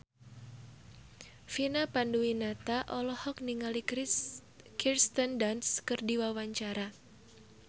Vina Panduwinata olohok ningali Kirsten Dunst keur diwawancara